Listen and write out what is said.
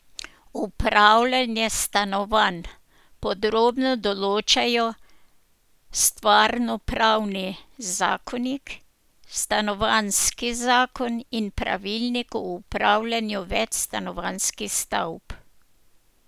Upravljanje stanovanj podrobno določajo stvarnopravni zakonik, stanovanjski zakon in pravilnik o upravljanju večstanovanjskih stavb.